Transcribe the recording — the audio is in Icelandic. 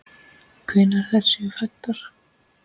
Hvenær þær séu fæddar!